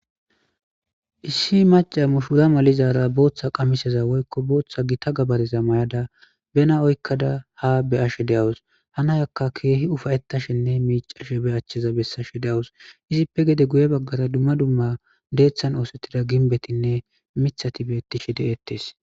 issi maca mushura malizara booththa qamiseza woykko booththa gita gabareza may7ada bena oykkada ha beyashe de7awus hanayakka keehi ufayettashenne miicashe be achcheza bessashe deawus izippe gede guye baggara dumma dumma deeththan oosettida ginbetinne mithati beettishe de7ettes